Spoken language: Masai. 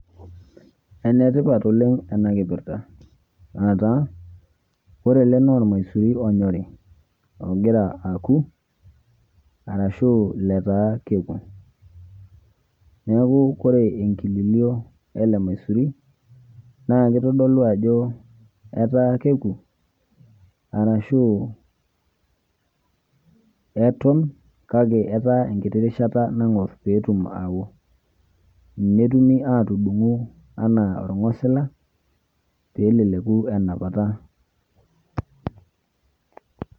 Enetipat oleng enakipirta aa taa ore naa naormaisurin onyori ogira aoku arashu lataa keoku neaku koree enkililio elemaisuri na kitadolu ajo ata keku ashu eton kake enkiti rishata nangor peoku, netumu atudungu anaa orngosila pelekeku enapata .